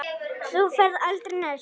Þú ferð aldrei neitt.